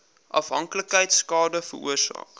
afhanklikheid skade veroorsaak